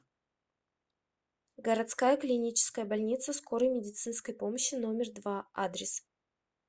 городская клиническая больница скорой медицинской помощи номер два адрес